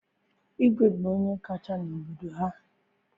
Igwe bụ onye kacha n'obodo ya